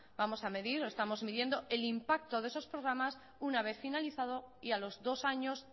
vamos a medir o estamos midiendo el impacto de esos programas una vez finalizado y a los dos años